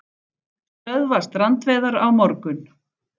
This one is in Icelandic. Stöðva strandveiðar á morgun